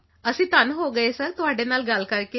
ਅਸੀਂ ਧਨ ਹੋ ਗਏ ਸਰ ਤੁਹਾਡੇ ਨਾਲ ਗੱਲ ਕਰਕੇ